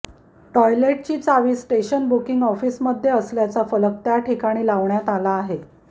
टॉयलेटची चावी station booking ऑफिसमध्ये असल्याचा फलक त्या ठिकाणी लावण्यात आला आहे